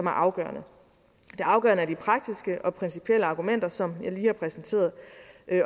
er afgørende det afgørende er de praktiske og principielle argumenter som jeg lige har præsenteret